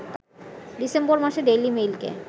December মাসে daily মেইলকে